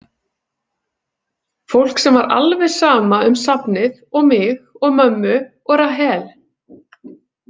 Fólk sem var alveg sama um safnið og mig og mömmu og Rahel.